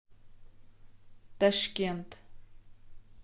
ташкент